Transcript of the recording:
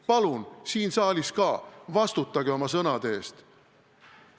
Palun – siin saalis ka – vastutage oma sõnade eest!